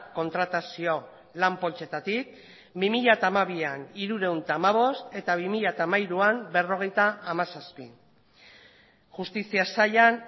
kontratazio lan poltsetatik bi mila hamabian hirurehun eta hamabost eta bi mila hamairuan berrogeita hamazazpi justizia sailan